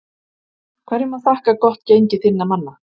Hverju má þakka gott gengi þinna manna?